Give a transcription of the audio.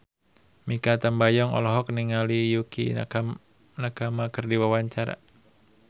Mikha Tambayong olohok ningali Yukie Nakama keur diwawancara